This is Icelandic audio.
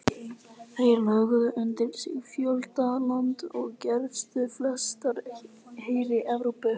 Þeir lögðu undir sig fjölda landa og gersigruðu flestalla heri Evrópu.